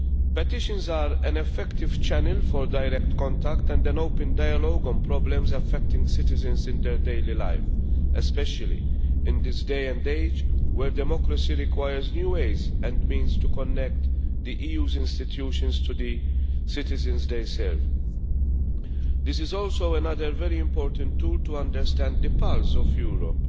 Petitions are an effective channel for direct contact and an open dialogue on problems affecting citizens in their daily life, especially in this day and age where democracy requires new ways and means to connect the EU's institutions to the citizens they serve. This is also another very important tool to understand the pulse of Europe.